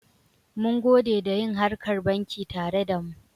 Mungode da yin harkar banki tare da mu.